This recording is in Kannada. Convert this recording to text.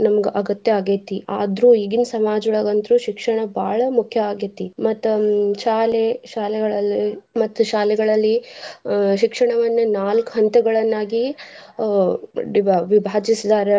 ನಮ್ಗ್ ಅಗತ್ಯ ಆಗೇತಿ. ಆದ್ರು ಈಗಿನ ಸಮಾಜೊಳಗ ಅಂತ್ರು ಶಿಕ್ಷಣ ಬಾಳ ಮುಖ್ಯ ಆಗೆತಿ ಮತ್ತ್ ಶಾಲೆ ಶಾಲೆಗಳಲ್ಲಿ ಮತ್ತ್ ಶಾಲೆಗಳಲ್ಲಿ ಆಹ್ ಶಿಕ್ಷಣವನ್ನ ನಾಲ್ಕ್ ಹಂತಗಳನ್ನಾಗಿ ಆಹ್ ವಿಭ~ ವಿಭಾಗಿಸಿದಾರ.